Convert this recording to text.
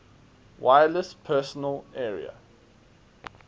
wireless personal area